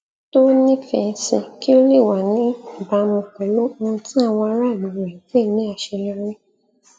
to nífẹẹ sí kí ó lè wà níbàámú pẹlú ohun tí àwọn ará ìlú rẹ n pè ní aṣeyọri